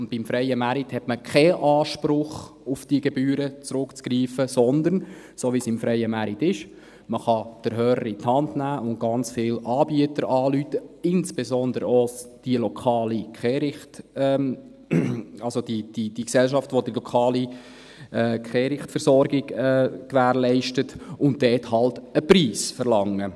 Beim freien Markt hat man keinen Anspruch, um auf die Gebühren zurückzugreifen, sondern, so wie es im freien Markt ist, kann man den Hörer in die Hand nehmen und ganz viele Anbieter anrufen, insbesondere auch für den lokalen Kehricht, also die Gesellschaft, die die lokale Kehrichtversorgung gewährleistet und dafür halt einen Preis verlangt.